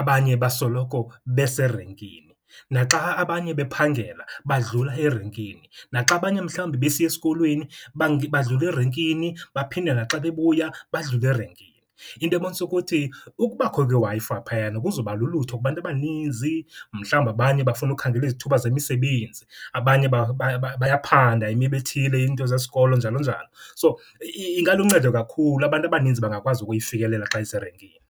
abanye basoloko beserenkini. Naxa abanye bephangela, badlula erenkini. Naxa abanye mhlawumbi besiya esikolweni badlula erenkini, baphinde naxa bebuya badlule erenkini. Into ebonisa ukuthi ukubakho kweWi-Fi phayana kuzobalulutho kubantu abaninzi. Mhlawumbi abanye bafuna ukukhangela izithuba zemisebenzi, abanye bayaphanda imiba ethile, iinto zesikolo njalo njalo. So, ingaluncedo kakhulu, abantu abaninzi bangakwazi ukuyifikelela xa iserenkini.